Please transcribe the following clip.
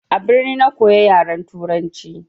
A birni na koya yaran turanci.